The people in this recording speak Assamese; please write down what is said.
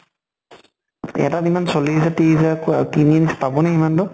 এটাত ইমান চল্লিছ হাজাৰ ত্ৰিছ হাজাৰ ক কিনি পাব নে ইমান টো?